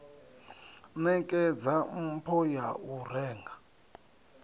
nekedza mpho ya u renga